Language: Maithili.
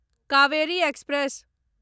कावेरी एक्सप्रेस